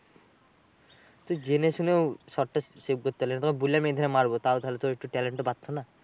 তুই জেনে শুনেও shot টা save করতে পারলি না। তোকে বললাম এধারে মারবো। তাও তাহলে তোর talent টা বাড়তো না?